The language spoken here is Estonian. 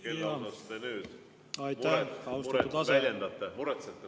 Kelle pärast te nüüd muret väljendate?